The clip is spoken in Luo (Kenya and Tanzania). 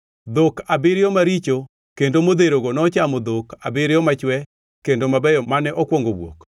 Dhok abiriyo maricho kendo odherogo nochamo dhok abiriyo machwe kendo mabeyo mane okwongo wuok.